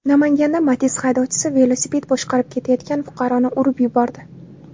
Namanganda Matiz haydovchisi velosiped boshqarib ketayotgan fuqaroni urib yubordi.